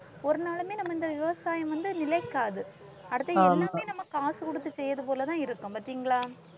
ஒரு நாளுமே நம்ம இந்த விவசாயம் வந்து நிலைக்காது அடுத்து எல்லாமே நம்ம காசு கொடுத்து செய்யறது போலதான் இருக்கும் பார்த்தீங்களா?